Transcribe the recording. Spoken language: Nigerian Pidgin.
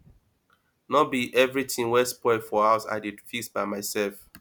no be everytin wey spoil for house i dey fix by mysef